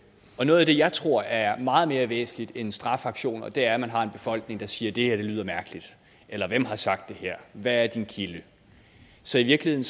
noget af det jeg tror er meget mere væsentligt end strafaktioner er at man har en befolkning der siger det her lyder mærkeligt eller hvem har sagt det her hvad er din kilde så i virkeligheden